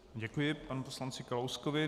Děkuji panu poslanci Kalouskovi.